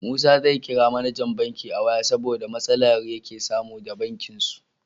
Musa zai kira mAnajan banki a waya saboda matsalar yake samu da bankin su